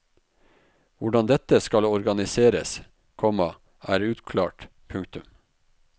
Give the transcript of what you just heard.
Hvordan dette skal organiseres, komma er uklart. punktum